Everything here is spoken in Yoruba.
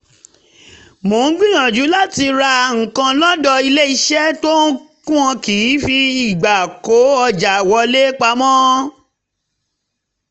mo ń gbìyànjú láti ra nǹkan lọ́dọ̀ iléeṣẹ́ tí wọn kì í fi ìgbà kó ọjà wọlé pamọ́